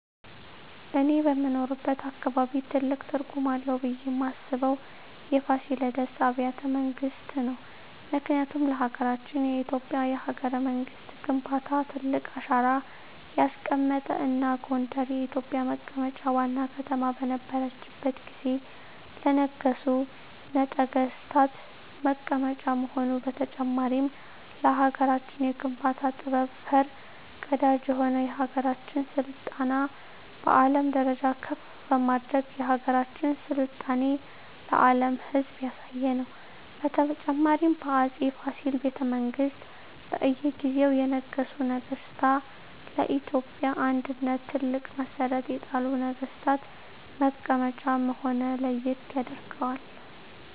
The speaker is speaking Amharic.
እኔ በምኖርበት አካባቢ ትልቅ ትርጉም አለው ብየ ማስበው የፋሲለደስ አቢያተ መንግስት ነው ምክንያቱም ለሀገረችን የኢትዮጵያ የሀገረ መንግስት ግንባታ ትልቅ አሻራ ያስቀመጠ እና ጎንደር የኢትዮጵ መቀመጫ ዋና ከተማ በነረችት ጊዜ ለነገሡ ነጠገስታት መቀመጫ መሆኑ በተጨማሪም ለሀገራችን የግንባታ ጥበብ ፈር ቀዳጅ የሆነ የሀገራችን ስልጣኔ በአለም ደረጃ ከፍ በማድረግ የሀገራችን ስልጣኔ ለአም ህዝብ ያሳየ ነው። በተጨማሪም በ አፄ ፋሲል ቤተመንግስት በእየ ጊዜው የነገሱ ነገስታ ለኢትዮጵያ አንድነት ትልቅ መሠረት የጣሉ ነግስታት መቀመጫ መሆነ ለየት ያደርገዋል።